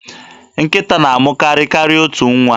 Nkịta na-amụ karịa otu nwa.